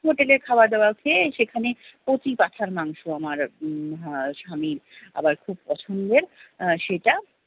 হোটেলে খাবার দাবার খেয়ে সেখানে কচি পাঁঠার মাংস আমার উম আমার স্বামীর আবার খুব পছন্দের সেটা।